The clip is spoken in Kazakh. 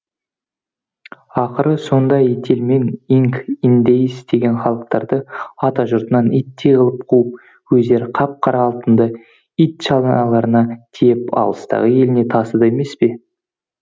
ақыры сонда ителмен инк индейіс деген халықтарды атажұртынан иттей қылып қуып өздері қап қара алтынды итшаналарына тиеп алыстағы еліне тасыды емес пе